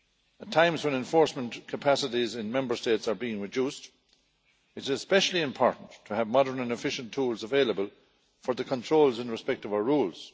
At times when enforcement capacities in Member States are being reduced, it is especially important to have modern and efficient tools available for the controls in respect of our rules.